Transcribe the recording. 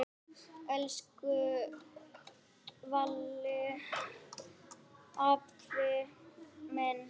Elsku Valli afi minn.